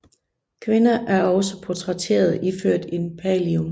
Kvinder er også portrætteret iført en pallium